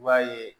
I b'a ye